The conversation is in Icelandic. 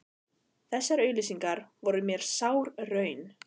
Þessar auglýsingar voru mér sár raun.